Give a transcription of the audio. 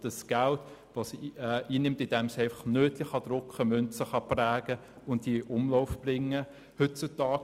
Das bedeutet, dass sie Noten drucken und Münzen prägen und diese in Umlauf bringen kann.